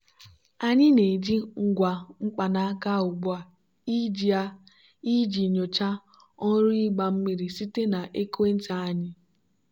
anyị na-eji ngwa mkpanaka ugbu a iji a iji nyochaa ọrụ ịgba mmiri site na ekwentị anyị.